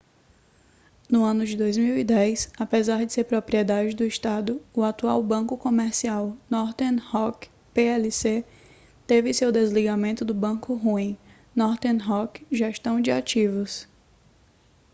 no ano de 2010 apesar de ser propriedade do estado o atual banco comercial northern rock plc teve seu desligamento do ‘banco ruim’ northern rock gestão de ativos